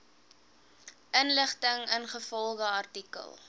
inligting ingevolge artikel